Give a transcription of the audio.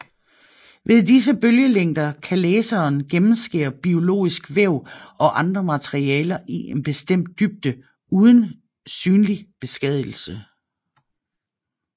Ved disse bølgelængder kan laseren gennemskære biologisk væv og andre materialer i en bestemt dybde uden synlig beskadigelse